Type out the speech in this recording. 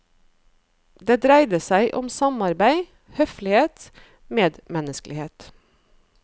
Det dreide seg om samarbeid, høflighet, medmenneskelighet.